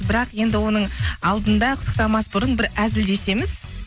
бірақ енді оның алдында құттықтамас бұрын бір әзілдесеміз